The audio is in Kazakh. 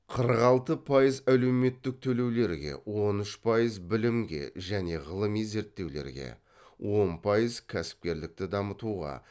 қырық алты пайыз әлеуметтік төлеулерге он үш пайыз білімге және ғылыми зерттеулерге он пайыз кәсіпкерлікті дамытуға